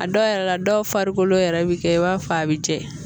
A dɔw yɛrɛ la dɔw farikolo yɛrɛ bi kɛ i b'a fɔ a bi jɛ